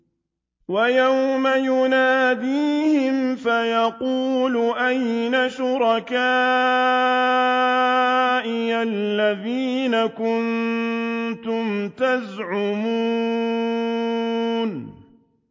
وَيَوْمَ يُنَادِيهِمْ فَيَقُولُ أَيْنَ شُرَكَائِيَ الَّذِينَ كُنتُمْ تَزْعُمُونَ